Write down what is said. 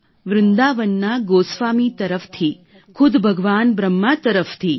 વૃંદાવનના ગોસ્વામી તરફથી ખુદ ભગવાન બ્રહ્મા તરફથી